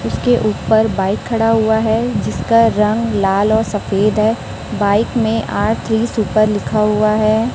उसके ऊपर बाइक खड़ा हुआ है जिसका रंग लाल और सफेद है बाइक में आर थ्री सुपर लिखा हुआ है।